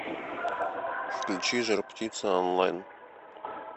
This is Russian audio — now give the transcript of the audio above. включи жар птица онлайн